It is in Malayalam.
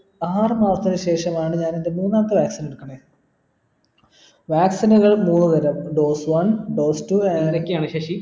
ആറു മാസത്തിന് ശേഷമാണ് ഞാൻ ൻ്റെ മൂന്നാമത്തെ vaccine എടുക്കുന്നെ vaccine നുകൾ മൂന്നു തരം dose one dose two അങ്ങനൊക്കെയാണ് ശശി